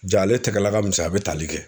J'ale tɛgɛla ka misɛn a be tali kɛ